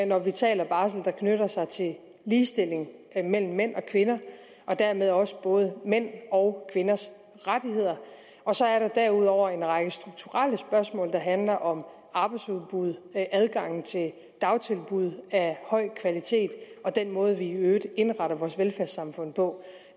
når vi taler om barsel der knytter sig til ligestilling mellem mænd og kvinder og dermed også både mænds og kvinders rettigheder og så er der derudover en række strukturelle spørgsmål der handler om arbejdsudbud adgangen til dagtilbud af høj kvalitet og den måde vi i øvrigt indretter vores velfærdssamfund på